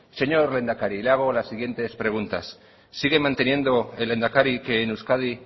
señor lehendakari le hago las siguientes preguntas sigue manteniendo el lehendakari que en euskadi